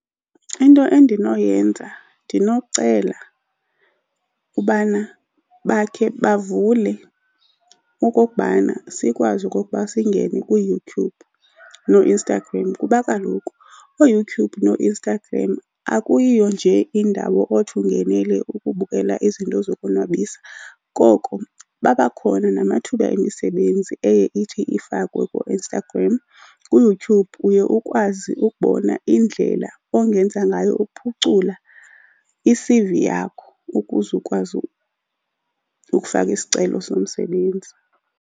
Into endinoyenza ndinokucela ubana bakhe bavule okokubana sikwazi okokuba singene kuYouTube nooInstagram. Kuba kaloku ooYouTube noInstagram akuyiyo nje indawo othi ungenele ukubukela izinto zokonwabisa, koko abakhona namathuba emisebenzi eye ithi ifakwe kooInstagram. KuYouTube uye ukwazi ukubona indlela ongenza ngayo ukuphucula i-C_V yakho ukuze ukwazi ukufaka isicelo somsebenzi.